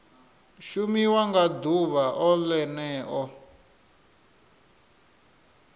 shumiwa nga ḓuvha o ḽeneo